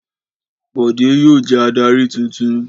Bọ̀dé yóò jẹ́ adarí tuntun.